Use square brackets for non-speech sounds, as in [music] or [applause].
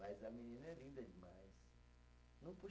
Mas a menina é linda demais. [unintelligible]